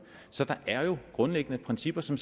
så der er jo grundlæggende principper som